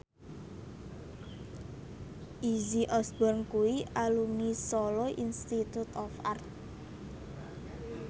Izzy Osborne kuwi alumni Solo Institute of Art